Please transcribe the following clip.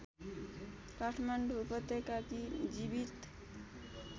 काठमाडौँ उपत्यकाकी जीवित